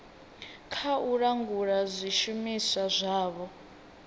kha u langula zwishumiswa zwavho